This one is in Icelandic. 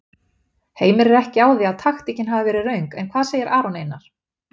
Heimir er ekki á því að taktíkin hafi verið röng en hvað segir Aron Einar?